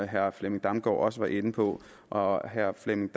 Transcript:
herre flemming damgaard larsen var inde på og herre flemming